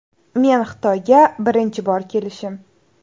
Men Xitoyga birinchi bor kelishim.